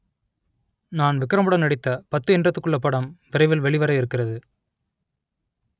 நான் விக்ரமுடன் நடித்த பத்து எண்றதுக்குள்ள படம் விரைவில் வெளிவர இருக்கிறது